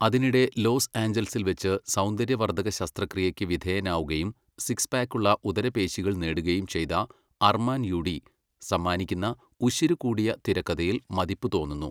അതിനിടെ ലോസ് ആഞ്ചൽസിൽവെച്ച് സൗന്ദര്യവർദ്ധക ശസ്ത്രക്രിയയ്ക്ക് വിധേയനാവുകയും സിക്സ് പാക്കുള്ള ഉദരപേശികൾ നേടുകയും ചെയ്ത അർമാന് യൂഡി സമ്മാനിക്കുന്ന 'ഉശിരുകൂടിയ' തിരക്കഥയിൽ മതിപ്പ് തോന്നുന്നു.